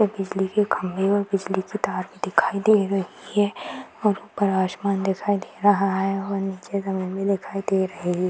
बिजली के खम्बे और बिजली के तार भी दिखाई दे रही है और ऊपर आश्मान दिखाई दे रहा है और नीचे जमीन भी दिखाई दे रही --